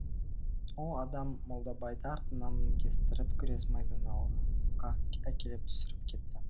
ол адам молдабайды артына мінгестіріп күрес майданы алаңға әкеліп түсіріп кетті